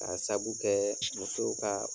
Ka sabu kɛ musow ka